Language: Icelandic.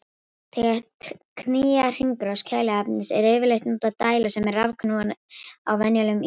Til að knýja hringrás kæliefnisins er yfirleitt notuð dæla sem er rafknúin á venjulegum ísskápum.